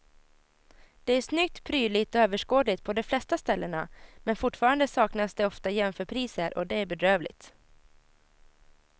Det är snyggt, prydligt och överskådligt på de flesta ställena men fortfarande saknas det ofta jämförpriser och det är bedrövligt.